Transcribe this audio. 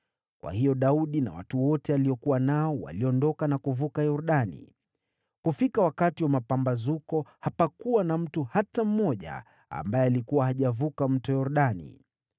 Kwa hiyo Daudi na watu wote aliokuwa nao waliondoka na kuvuka Yordani. Kufika wakati wa mapambazuko, hapakuwa na mtu hata mmoja ambaye alikuwa hajavuka Mto Yordani.